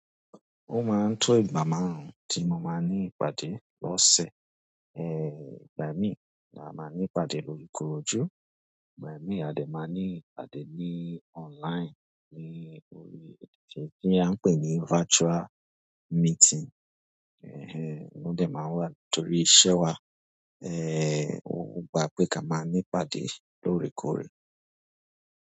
Ó máa ń tó ìgbà márùn-ún tí mo máa n ní ìpàdé. Lọ́sẹ̀, ẹ́, ìgbà mí maa máa ní ìpàdé lóju korojú, ìgbà mi àde máa ní ìpàdé ní online ní orí èdè tí a ń pè ní virtual meeting. Ehen, ó dà máa wà torí iṣẹ́ wa, ẹ, ó gba pé ká máa ní ìpàdé lórekóore.